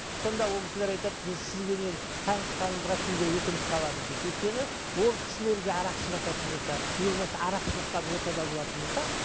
сонда ол кісілер айтады біз сізбенен танысқанымызға кейде өкініп қаламыз дейді өйткені ол кісілер де арақ ішівататын болса не болмаса арақ ішівотқан ортада болатын болса